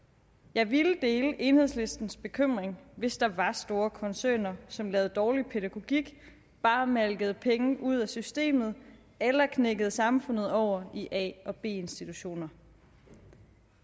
jeg ville dele enhedslistens bekymring hvis der var store koncerner som lavede dårlig pædagogik bare malkede penge ud af systemet eller knækkede samfundet over i a og b institutioner